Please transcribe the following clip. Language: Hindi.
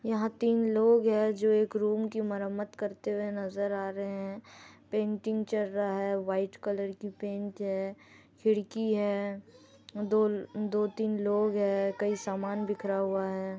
यहाँ तीन लोग है जो है एक रूम की मरम्मत करते हुए नज़र आ रहे है पेटिग चल रहा है वाइट कलर की पेंट है खिड़की है दो दो तीन लोग है कई सामान बिखरा हुआ हैं।